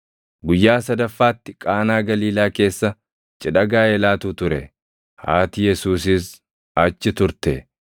Guyyaa sadaffaatti Qaanaa Galiilaa keessa cidha gaaʼelaatu + 2:1 Cidha gaaʼelaatu – Cidhi gaaʼelaa torban tokko guutuu fudhata ture. ture. Haati Yesuusiis achi turte;